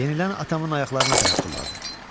Yenilən atamın ayaqlarına tərəf tulladı.